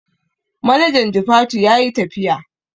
Manajan jifatu yayi tafiya